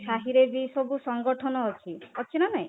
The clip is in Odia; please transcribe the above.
ସାହିରେ ବି ସବୁ ସଂଗଠନ ଅଛି, ଅଛି ନା ନାହିଁ?